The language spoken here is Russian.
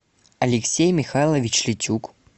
алексей михайлович литюк